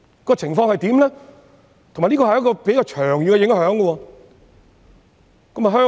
而且，這是一個比較長遠的影響。